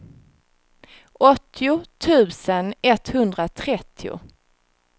åttio tusen etthundratrettio